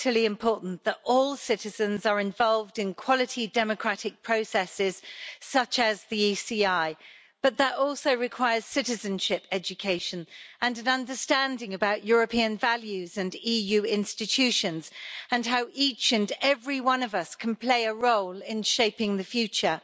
vitally important that all citizens are involved in quality democratic processes such as the ECI, but that also requires citizenship education and an understanding of European values and EU institutions and how each and every one of us can play a role in shaping the future.